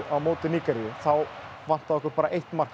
á móti Nígeríu og þá vantaði bara eitt mark